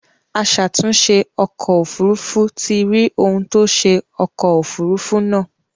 Aṣàtunṣè ọkọ̀ òfurufú ti rí ohun tó ṣe ọkọ̀ òfurufú náà.